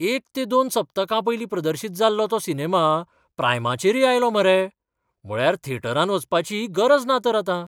एक ते दोन सप्तकां पयलीं प्रदर्शीत जाल्लो तो सिनेमा प्रायमाचेरय आयलो मरे! म्हळ्यार थेटरांत वचपाची गरज ना तर आतां!